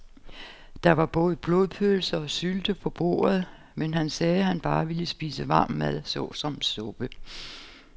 Der var både blodpølse og sylte på bordet, men han sagde, at han bare ville spise varm mad såsom suppe.